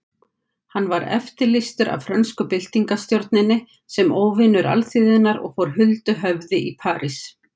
Hann var eftirlýstur af frönsku byltingarstjórninni sem óvinur alþýðunnar og fór huldu höfði í París.